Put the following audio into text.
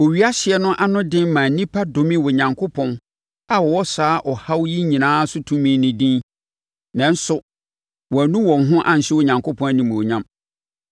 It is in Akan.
Owia hyeɛ no anoden maa nnipa domee Onyankopɔn a ɔwɔ saa ɔhaw yi nyinaa so tumi no din. Nanso, wɔannu wɔn ho anhyɛ Onyankopɔn animuonyam.